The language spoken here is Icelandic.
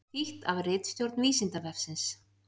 Þýtt af ritstjórn Vísindavefsins.